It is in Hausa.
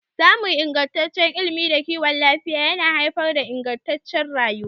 Samun ingantaccen ilimi da kiwon lafiya yana haifar da ingantacciyar rayuwa.